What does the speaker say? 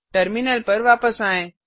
terminal पर वापस आएँ